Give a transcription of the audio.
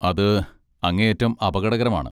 അത് അങ്ങേയറ്റം അപകടകരമാണ്.